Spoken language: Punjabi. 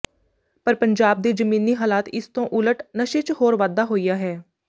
ਪਰ ਪੰਜਾਬ ਦੇ ਜਮੀਨੀ ਹਲਾਤ ਇਸ ਤੋਂ ਉਲਟ ਨਸ਼ੇ ਚ ਹੋਰ ਵਾਧਾ ਹੋਇਆ ਹੈ